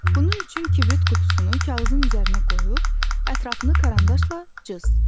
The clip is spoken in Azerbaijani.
Bunun üçün kibrit qutusunu kağızın üzərinə qoyub, ətrafını karandaşla cız.